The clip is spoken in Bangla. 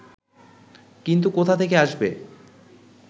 কিন্তু কোথা থেকে আসবে